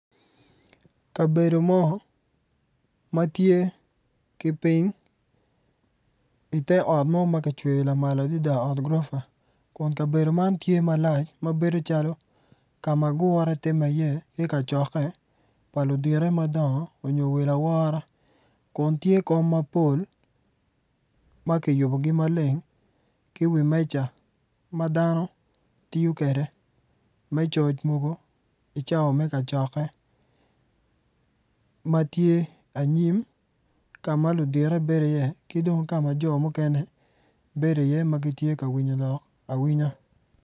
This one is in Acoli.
Kabedo mo ma tye ki piny ite ot mo ma kicweyo lamal adada ot gurofa kun kabedo man tye malac ma bedo calo ka ma gure timme iye ki kacokke pa ludito madongo nyo welo awora kun tye kom mapol ma kiyubogi maleng ki wi meja ma dano tiyo kwede me coc mogo icawa me kacokke ma tye anyim ka ma ludito bedo iye ki dong ka ma jo mukene bedo iye ma gitye ka winyo lok awinya.